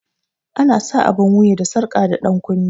Ana sa abun wuya da sarƙa da dankunne